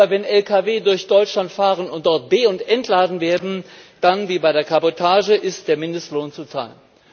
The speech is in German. Aber wenn Lkw durch Deutschland fahren und dort be und entladen werden, dann wie bei der Kabotage ist der Mindestlohn zu zahlen.